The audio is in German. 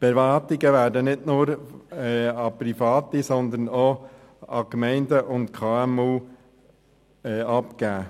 Die Erwartungen werden nicht nur an Private, sondern auch an Gemeinden und KMU abgegeben.